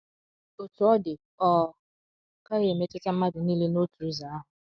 Otú ọ dị, ọ gaghị emetụta mmadụ nile n’otu ụzọ ahụ.